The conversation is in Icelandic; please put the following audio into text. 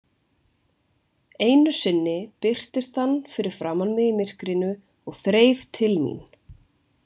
Einu sinni birtist hann fyrir framan mig í myrkrinu og þreif til mín.